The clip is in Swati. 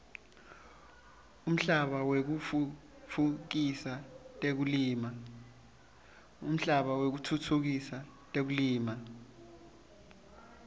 umhlaba wekutfutfukisa tekulima